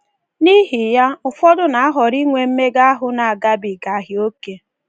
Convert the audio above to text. N’ihi ya, ụfọdụ na-ahọrọ inwe mmega ahụ na-agabigaghị oke.